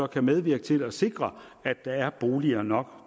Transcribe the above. kan medvirke til at sikre at der er boliger nok